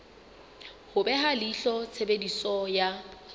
ho beha leihlo tshebediso ya